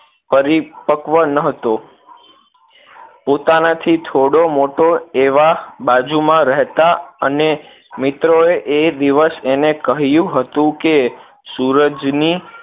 પરિપક્વ ન હતો પોતાના થી થોડો મોટો એવા બાજુ માં રેહતા અને મિત્રોએ એ દિવસ તેને કહ્યું હતું કે સૂરજ ની